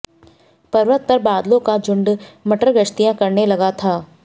पर्वत पर बादलों का झुंड मटरगश्तियां करने लगा था